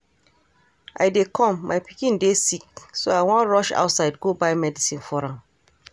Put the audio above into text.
I dey come, my pikin dey sick so I wan rush outside go buy medicine for am